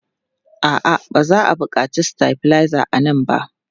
A'a, ba za a buƙaci stabilizer a nan ba.